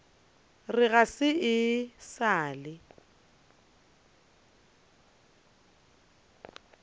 re ga e sa le